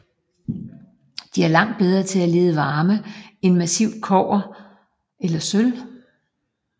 De er langt bedre til at lede varme end massivt kobber eller sølv